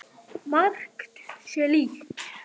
Margt sé líkt.